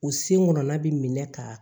U sen ŋɔnna bi minɛ ka